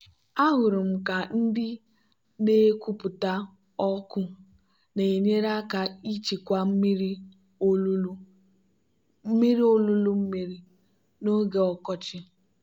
ahụrụ m ka ndị na-ekupụta ọkụ na-enyere aka ichekwa mmiri olulu mmiri n'oge ọkọchị.